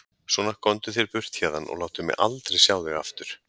Svona, komdu þér burtu héðan og láttu mig aldrei sjá þig aftur!